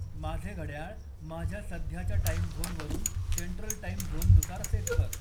माझे घड्याळ माझ्या सध्याच्या टाईम झोनवरून सेन्ट्रल टाईम झोननुसार सेट कर